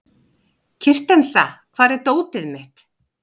Kristensa, hvar er dótið mitt?